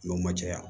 N'o ma caya